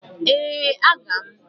Ee, aga m.